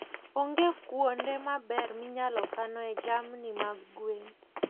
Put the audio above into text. Onge kuonde maber minyalo kanoe jamni mag gwen.